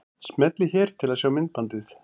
Smellið hér til að sjá myndbandið.